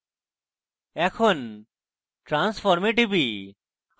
এবং এখন আমি transform এ টিপি